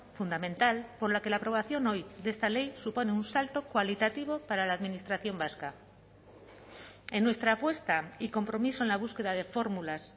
fundamental por la que la aprobación hoy de esta ley supone un salto cualitativo para la administración vasca en nuestra apuesta y compromiso en la búsqueda de fórmulas